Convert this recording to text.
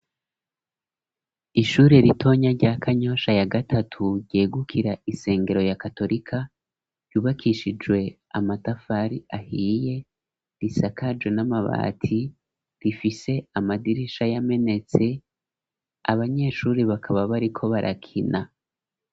Ishure ritonya rya Kanyosha ya gatatu ryegukira isengero ya katolika ryubakishijwe amatafari ahiye risakajwe n'amabati rifise amadirisha y'amenetse abanyeshure bakaba bariko barakina.